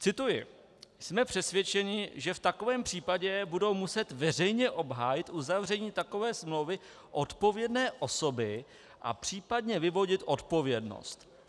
Cituji: "Jsme přesvědčeni, že v takovém případě budou muset veřejně obhájit uzavření takové smlouvy odpovědné osoby a případně vyvodit odpovědnost.